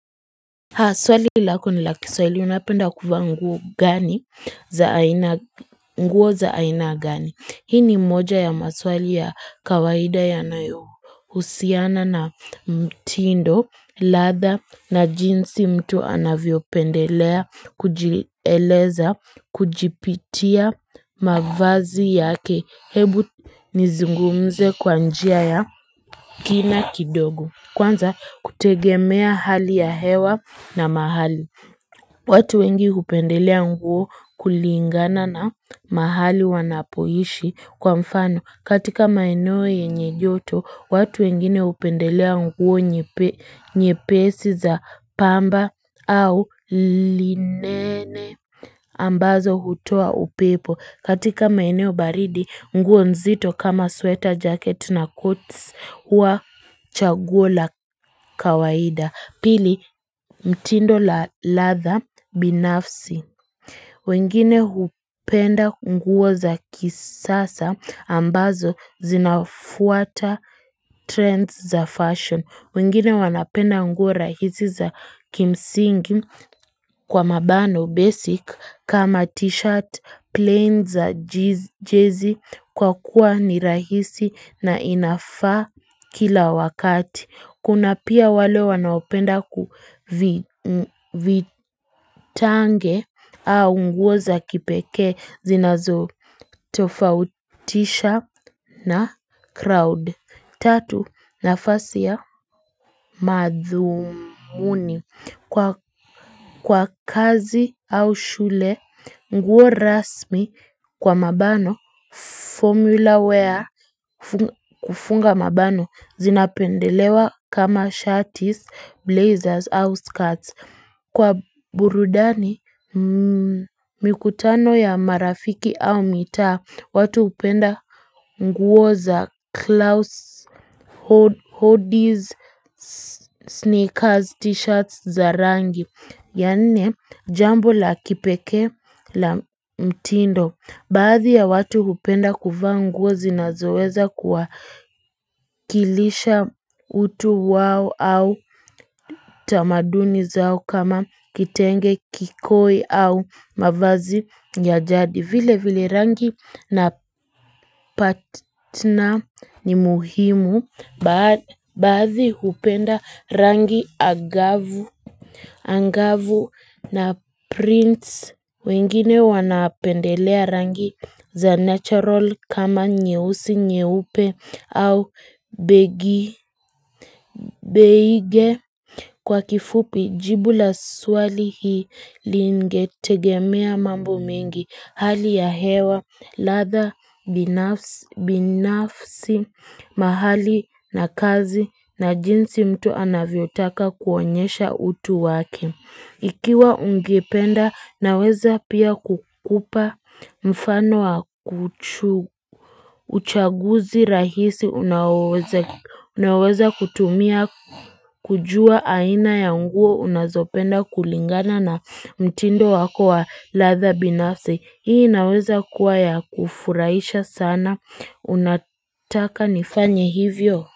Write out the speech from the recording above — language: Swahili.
Haa swali lako ni laki swali unapenda kuwa nguo gani za aina nguo za aina gani Hii ni moja ya maswali ya kawaida ya nayo usiana na mtindo ladha na jinsi mtu anavyo pendelea Kujileleza kujipitia mavazi yake Hebu nizungumze kwa njia ya kina kidogo Kwanza kutegemea hali ya hewa na mahali. Watu wengi upendelea nguo kulingana na mahali wanapoishi kwa mfano. Katika maeneo yenye joto, watu wengine upendelea nguo nye pesi za pamba au linene. Ambazo hutua upepo. Katika maeneo baridi, nguo nzito kama sweater, jacket na coats wa chagula kawaida. Pili, mtindo la leather binafsi. Wengine hupenda nguo za kisasa ambazo zinafuata trends za fashion. Wingine wanapenda unguo rahisi za kimsingi kwa mabano basic kama t-shirt, plane za jezi kwa kuwa ni rahisi na inafa kila wakati. Kuna pia wale wanaopenda kuvitange au unguo za kipeke zinazo tofautisha na crowd. Tatu na fasi ya madhuuni kwa kazi au shule nguo rasmi kwa mabano formula wear kufunga mabano zinapendelewa kama shirties blazers au skirts kwa burudani mikutano ya marafiki au mita watu upenda nguo za Klaus hoodies, sneakers, t-shirts za rangi Yani jambo la kipeke la mtindo Baadhi ya watu kupenda kufa nguo zinazoweza kuwa kilisha utu wao au tamaduni zao kama kitenge kikoi au mavazi ya jadi vile vile rangi na partner ni muhimu baadhi upenda rangi angavu na prince wengine wanapendelea rangi za natural kama nyehusi nyeupe au begi beige. Kwa kifupi jibu la swali hii lingetegemea mambo mingi hali ya hewa latha binafsi mahali na kazi na jinsi mtu anavyotaka kuonyesha utu waki. Ikiwa ungependa na weza pia kukupa mfano wa kuchu. Uchaguzi rahisi unaweza kutumia kujua aina ya unguo unazopenda kulingana na mtindo wako wa latha binase. Hii naweza kuwa ya kufuraisha sana. Unataka nifanye hivyo?